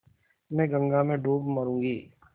मैं गंगा में डूब मरुँगी